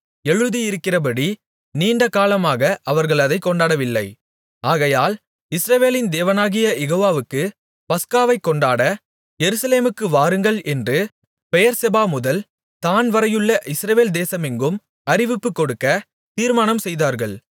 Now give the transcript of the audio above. எழுதியிருக்கிறபடி நீண்டகாலமாக அவர்கள் அதைக் கொண்டாடவில்லை ஆகையால் இஸ்ரவேலின் தேவனாகிய யெகோவாவுக்கு பஸ்காவைக் கொண்டாட எருசலேமுக்கு வாருங்கள் என்று பெயெர்செபாமுதல் தாண் வரையுள்ள இஸ்ரவேல் தேசமெங்கும் அறிவிப்புக் கொடுக்கத் தீர்மானம் செய்தார்கள்